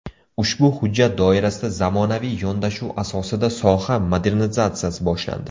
Ushbu hujjat doirasida zamonaviy yondashuv asosida soha modernizatsiyasi boshlandi.